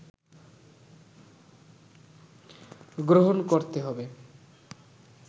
গ্রহণ করতে হবে